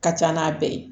Ka ca n'a bɛɛ ye